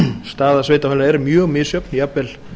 staða sveitarfélaganna er mjög misjöfn jafnvel